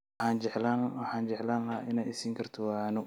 Waxaan jeclaan lahaa inay i siin karto waano